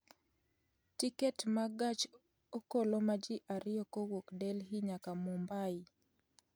tiket mag gach okoloma ji ariyo kowuok delhi nyaka mumbai